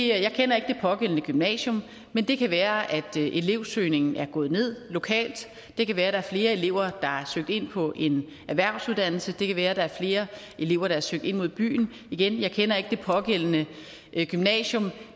jeg kender ikke det pågældende gymnasium men det kan være at elevsøgningen er gået ned lokalt det kan være at der er flere elever der har søgt ind på en erhvervsuddannelse det kan være at der er flere elever der har søgt ind mod byen igen jeg kender ikke det pågældende gymnasium